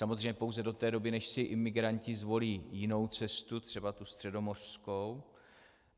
Samozřejmě pouze do té doby, než si imigranti zvolí jinou cestu, třeba tu středomořskou.